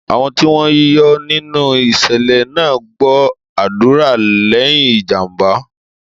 Àwọn tí wọ́n yọ nínú ìṣẹ̀lẹ̀ náà gbọ́ àdúrà lẹ́yìn ìjàm̀bá.